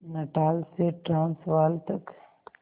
Natal से Transvaal तक